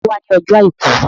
Ta ni ó wà ní ọjọ́ àìkú?